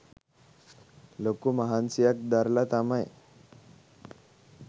ලොකු මහන්සියක් දරල තමයි